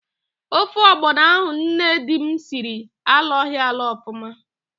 Ofe ọgbọnọ ahụ nne di m siri alọghị alọ ọfụma.